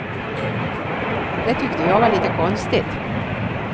Det tyckte jag var lite konstigt.